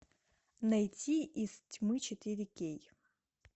найти из тьмы четыре кей